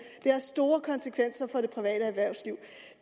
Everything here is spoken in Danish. har store konsekvenser for det private erhvervsliv